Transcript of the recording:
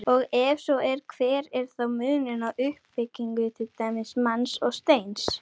Og ef svo er, hver er þá munurinn á uppbyggingu til dæmis manns og steins?